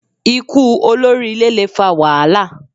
Ikú olórí ilé le fa wàhálà